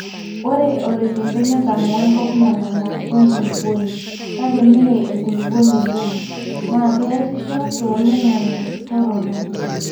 ore oloikembe netamoo enkop nalala we nkulupuoni(kake mee enkulupuoni e loam)naa keesisho too oloingange torono